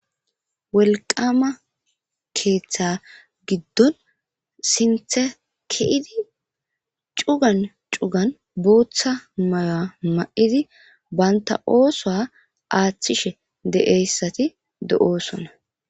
wolqqama keeththa giddon siinththe ke'idi cugan cugan booththa maya ma'idi banta oosuwa aaththishshe de'eyssati do'osoona